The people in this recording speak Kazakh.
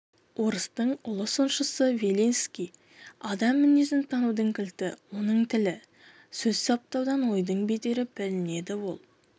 орыстың ұлы сыншысы белинский адам мінезін танудың кілті оның тілі сөз саптаудан ойдың бедері білінеді ол